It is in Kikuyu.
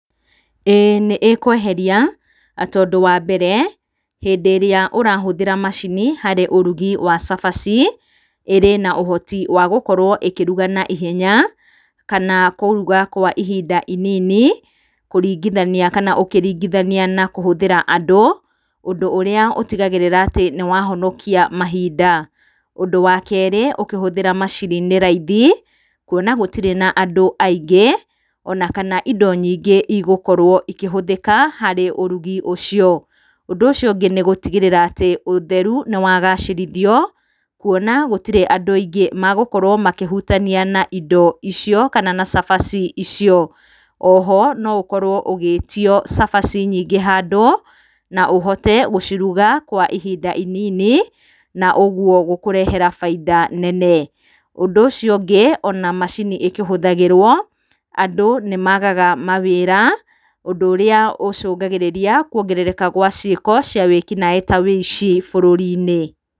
Ĩĩ nĩ ĩkweheria tondũ wa mbere hĩndĩ ĩrĩa ũrahũthĩra macini harĩ ũrugi wa cabaci ĩrĩ na ũhoti wa gũkorwo ĩkĩruga naihenya kana kũruga kwa ihinda inini kũringithania kana ũkĩringithania na kũhũthĩra andũ, ũndũ ũrĩa ũtigagĩrĩra atĩ nĩwahonokia mahinda. Ũndũ wa kerĩ ũkĩhũthĩra macini nĩ raithi kuona atĩ gũtirĩ na andũ aingĩ ona kana indo nyingĩ igũkorwo ikĩhũthĩka harĩ ũrugi ũcio. Ũndũ ũcio ũngĩ nĩ gũtigĩrĩra atĩ ũtherũ nĩ wagacĩrithio kuona atĩ gũtirĩ andũ aingĩ megũkorwo makĩhutania na indo icio kana na cabaci icio. O ho no ũkorwo ũgĩtio cabaci nyingĩ handũ na ũhote gũciruga kwa ihinda inini, na ũguo gũkũrehera baita nene. Ũndũ ũcio ũngĩ ona macini ĩkĩhũthagĩrwo andũ nĩ maagaga mawĩra, ũndũ ũrĩa ũcũngagĩria kuongerereka gwa ciĩko cia wĩĩki naĩ ta ũici bũrũri-inĩ.